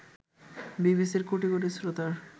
বিবিসির কোটি কোটি শ্রোতার